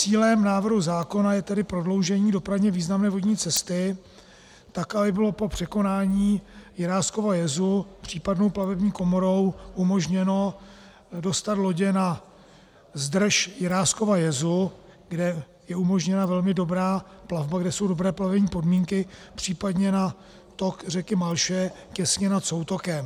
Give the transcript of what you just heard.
Cílem návrhu zákona je tedy prodloužení dopravně významné vodní cesty tak, aby bylo po překonání Jiráskova jezu případnou platební komorou umožněno dostat lodě na zdrž Jiráskova jezu, kde je umožněna velmi dobrá plavba, kde jsou dobré plavební podmínky, případně na tok řeky Malše těsně nad soutokem.